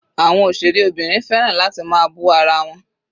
Àwọn òṣèré obìnrin fẹ́ràn láti máa bú ara wọn.